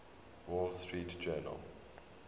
wall street journal